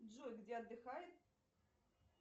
джой где отдыхает